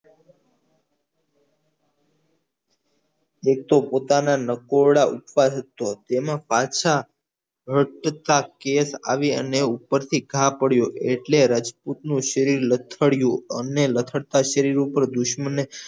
પોતાના નકોરડા ઉપાસ જ છો તેમો પાછા વચતા case આવી અને ઉપરથી ઘા પડ્યો એટલે રજ્પુતનું શરીર લથડ્યું અને લથડતા શરીર પર દુશ્મને